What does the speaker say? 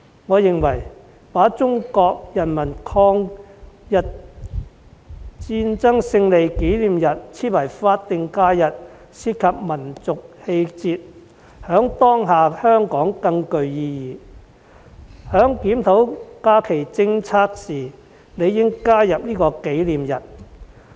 我認為，把中國人民抗日戰爭勝利紀念日訂為法定假日關乎民族氣節，在當下的香港更具意義，所以在檢討假期政策時理應加入這個紀念日。